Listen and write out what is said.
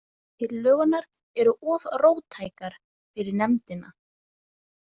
Tillögurnar eru of róttækar fyrir nefndina.